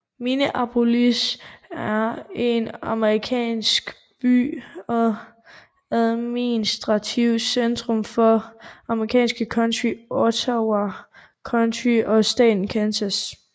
Minneapolis er en amerikansk by og administrativt centrum for det amerikanske county Ottawa County i staten Kansas